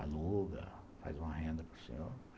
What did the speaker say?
aluga, faz uma renda para o senhor.